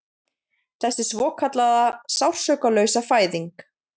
Þessi svokallaða Sársaukalausa fæðing